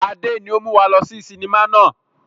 Adé ni ó mú wá lọ sí sinimá náà